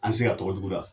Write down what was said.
An tɛ se ka tɔgɔ juguya